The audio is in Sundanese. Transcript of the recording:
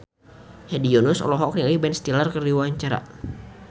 Hedi Yunus olohok ningali Ben Stiller keur diwawancara